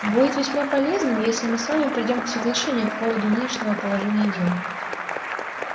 будет весьма полезным если мы с вами придём к соглашению по поводу нынешнего положения дел